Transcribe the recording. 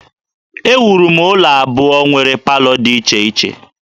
Ewuru m ụlọ abụọ nwere palọ dị iche iche